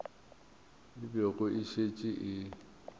e bego e šetše e